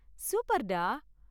சூப்பர்டா.